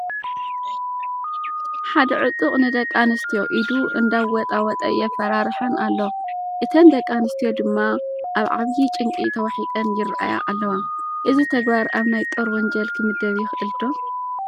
ሓደ ዕጡቕ ንደቂ ኣንስትዮ ኢዱ እንዳወጣወጠ የፈራርሐን ኣሎ፡፡ እተን ደቂ ኣንስትዮ ድማ ኣብ ዓብዪ ጭንቂ ተዋሒጠን ይርአያ ኣለዋ፡፡ እዚ ተግባር ኣብ ናይ ጦር ወንጀል ክምደብ ይኽእል ዶ?